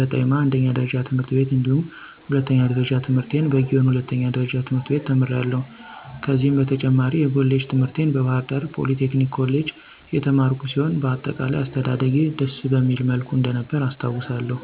በጠይማ አንደኛ ደረጃ ትምህርት ቤት እንዲሁም ሁለተኛ ደረጃ ትምህርቴን በጊዮን ሁለተኛ ደረጃ ትምህርት ቤት ተምሬያለሁ። ከዚህም በተጨማሪ የኮሌጅ ትምህርቴን በባህርዳር ፖሊቴክኒክ ኮሌጅ የተማርኩ ሲሆን በአጠቃላይ አስተዳደጌ ደስ በሚል መልኩ እንደነበረ አስታዉሳለሁ።